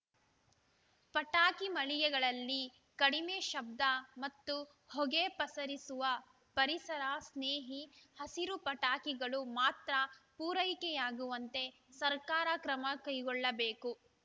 ಪಟಾಕಿ ಮಳಿಗೆಗಳಲ್ಲಿ ಕಡಿಮೆ ಶಬ್ದ ಮತ್ತು ಹೊಗೆ ಪಸರಿಸುವ ಪರಿಸರ ಸ್ನೇಹಿ ಹಸಿರು ಪಟಾಕಿಗಳು ಮಾತ್ರ ಪೂರೈಕೆಯಾಗುವಂತೆ ಸರ್ಕಾರ ಕ್ರಮಕೈಗೊಳ್ಳಬೇಕು